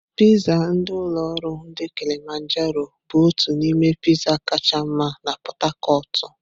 Piizzá ndi ulo oru ndi Kilimajaro bụ otu n'ime Piizzá kacha mma na Pot-tacotu.